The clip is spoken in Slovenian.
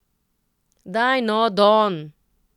Daj no, Don!